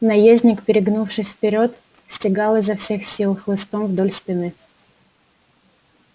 наездник перегнувшись вперёд стегал его изо всех сил хвостом вдоль спины